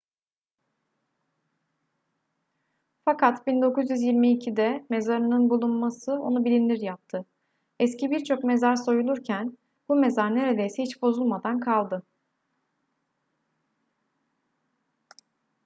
fakat 1922'de mezarının bulunması onu bilinir yaptı eski birçok mezar soyulurken bu mezar neredeyse hiç bozulmadan kaldı